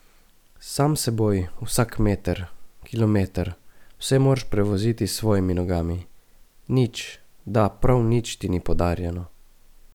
Sam s seboj, vsak meter, kilometer, vse moraš prevoziti s svojimi nogami, nič, da, prav nič ti ni podarjeno!